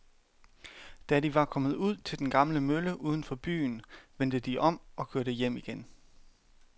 Da de var kommet ud til den gamle mølle uden for byen, vendte de om og kørte hjem igen.